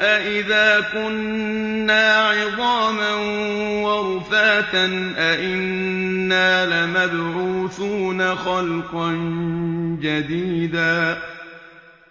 أَإِذَا كُنَّا عِظَامًا وَرُفَاتًا أَإِنَّا لَمَبْعُوثُونَ خَلْقًا جَدِيدًا